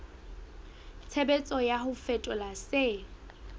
tshebetso ya ho fetola se